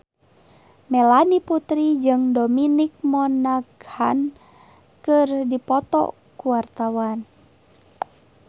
Melanie Putri jeung Dominic Monaghan keur dipoto ku wartawan